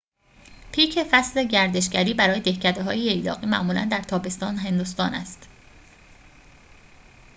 پیک فصل گردشگری برای دهکده‌های ییلاقی معمولاً در تابستان هندوستان است